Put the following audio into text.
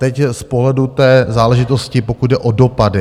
Teď z pohledu té záležitosti, pokud jde o dopady.